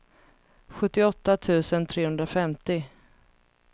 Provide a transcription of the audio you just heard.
sjuttioåtta tusen trehundrafemtio